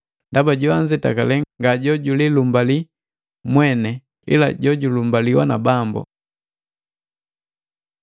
Ndaba joanzetakale nga jojulilumbali mwene, ila jojulumbaliwa na Bambo.